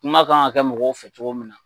Kuma k'an ka kɛ mɔgɔw fɛ cogo min na.